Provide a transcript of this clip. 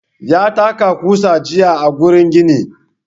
Ya taka ƙusa jiya a gurin gini.